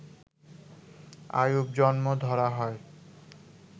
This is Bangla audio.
অউব জন্ম ধরা হয়